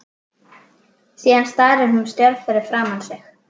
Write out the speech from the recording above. Síðan starir hún stjörf fram fyrir sig.